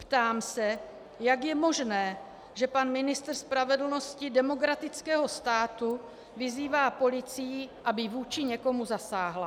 Ptám se, jak je možné, že pan ministr spravedlnosti demokratického státu vyzývá policii, aby vůči někomu zasáhla.